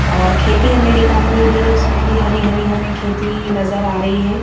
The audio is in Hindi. और खेती हमें दिखाई दे रही है उसमें भी हरी हरी हमें खेती नजर आ रही है।